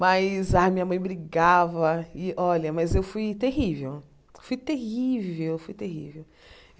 Mas a minha mãe brigava, e olha mas eu fui terrível, fui terrível, fui terrível.